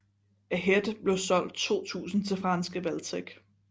Ahead blev solgt 2000 til franske Valtech